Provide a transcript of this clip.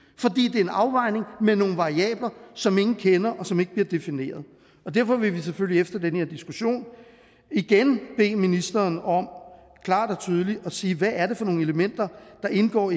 det er en afvejning med nogle variabler som ingen kender og som ikke bliver defineret derfor vil vi selvfølgelig efter den her diskussion igen bede ministeren om klart og tydeligt at sige hvad det er for nogle elementer der indgår